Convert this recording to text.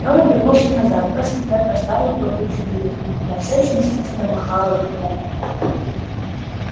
он обернулся назад бросил взгляд на старую плакучую иву та всё ещё мстительно махала ветвями